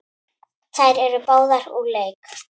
Þær eru báðar úr leik.